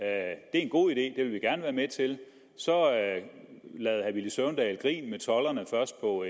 er en god idé vil vi gerne være med til så lavede herre villy søvndal grin med tolderne først på